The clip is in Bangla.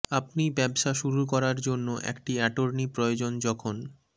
আপনি ব্যবসা শুরু করার জন্য একটি অ্যাটর্নি প্রয়োজন যখন